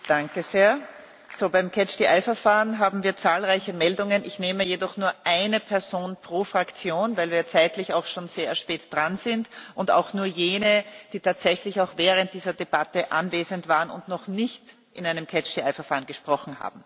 Für das nun folgende Verfahren haben wir zahlreiche Meldungen. Ich nehme jedoch nur eine Person pro Fraktion, weil wir schon sehr spät dran sind, und auch nur jene, die tatsächlich auch während dieser Debatte anwesend waren und noch nicht in einem Verfahren gesprochen haben.